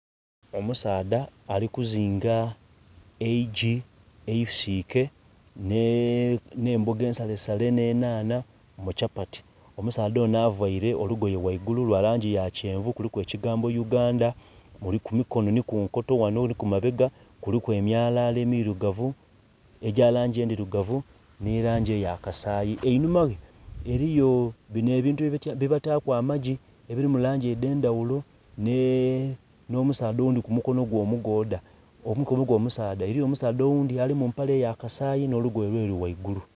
Omusaadha ali kuzinga eigi eisike nhe mboga ensale sale nhe enhandha mu kyapati, omusaadha onho avaire olugoye ghaigulu lwa langi ya kyenvu kuliku ekigambo Uganda kumi kinho ndhi ku enkoto ghano nho ku mabega kuliku emyalala emirigavu egya langi endhirugavu nhe langi eya kasayi. Einhuma ghe eriyo bino ebintu bye bataku amagi ebiri mu langi endhe ndhaghulo nho musaadha oghundhi ku mukonho gwe omugodha, omukono gwe omusaadha eriyo omusaadha oghundhi ali mu mpale eya kasayi nho olugoye olweru ghaigulu.